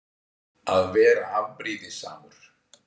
Að vera afbrýðisamur.